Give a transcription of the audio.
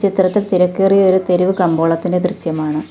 ചിത്രത്തിൽ തിരക്കേറിയ ഒരു തെരുവ് കമ്പോളത്തിന് ദൃശ്യമാണ്.